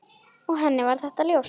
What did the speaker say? Og henni var þetta ljóst.